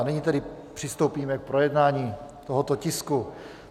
A nyní tedy přistoupíme k projednání tohoto tisku.